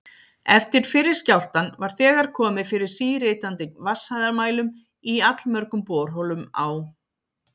Eftir fyrri skjálftann var þegar komið fyrir síritandi vatnshæðarmælum í allmörgum borholum á